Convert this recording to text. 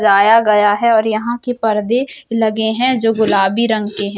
जाया गया है और यहाँ के परदे लगे हैं जो गुलाबी रंग के हैं |